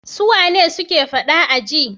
Suwane suke faɗa a aji?